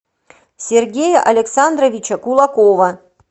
сергея александровича кулакова